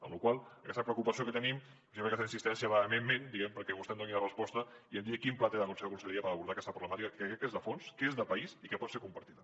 per la qual cosa aquesta preocupació que tenim per això aquesta insistència vehementment diguem ne perquè vostè em doni una resposta i em digui quin pla té la seva conselleria per abordar aquesta problemàtica que crec que és de fons que és de país i que pot ser compartida